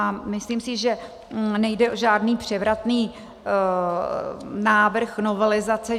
A myslím si, že nejde o žádný převratný návrh novelizace.